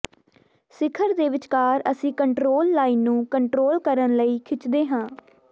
ਸਿਖਰ ਦੇ ਵਿਚਕਾਰ ਅਸੀਂ ਕੰਟ੍ਰੋਲ ਲਾਈਨ ਨੂੰ ਕੰਟਰੋਲ ਕਰਨ ਲਈ ਖਿੱਚਦੇ ਹਾਂ